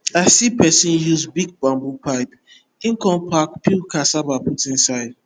i see person use big bamboo pipe e come pack peeled cassava put inside